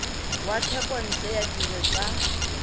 wa thekontle ya dire tsa